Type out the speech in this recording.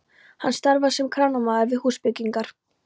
Hann starfar sem kranamaður við húsbyggingar.